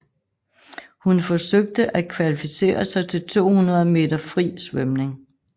Hun forsøgte at kvalificere sig til 200 meter fri svømning